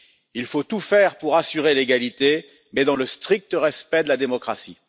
Il faut tout faire pour assurer l'égalité, mais dans le strict respect de la démocratie.